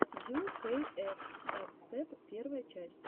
ю кей эф дабстеп первая часть